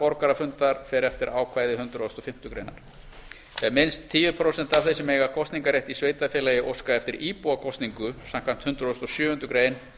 borgarafundar fer eftir ákvæði hundrað og fimmtu grein ef minnst tíu prósent af þeim sem eiga kosningarrétt í sveitarfélagi óska eftir íbúakosningu samkvæmt hundrað og sjöundu grein